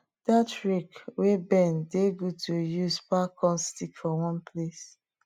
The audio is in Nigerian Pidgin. dat rake wey bend dey good to dey use pack corn stick for one place